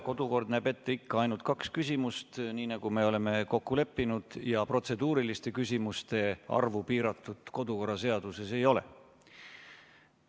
Kodukord näeb ette ikka ainult kaks küsimust, nii nagu me oleme kokku leppinud, ja protseduuriliste küsimuste arvu piiratud kodu- ja töökorra seaduses ei ole.